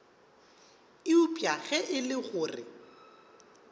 eupša ge e le gore